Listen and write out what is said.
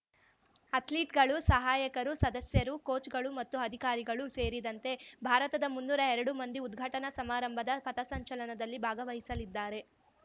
ಅಥ್ಲೀಟ್‌ಗಳು ಸಹಾಯಕರು ಸದಸ್ಯರು ಕೋಚ್‌ಗಳು ಮತ್ತು ಅಧಿಕಾರಿಗಳು ಸೇರಿದಂತೆ ಭಾರತದ ಮುನ್ನೂರಾಎರಡು ಮಂದಿ ಉದ್ಘಾಟನಾ ಸಮಾರಂಭದ ಪಥಸಂಚಲನದಲ್ಲಿ ಭಾಗವಹಿಸಲಿದ್ದಾರೆ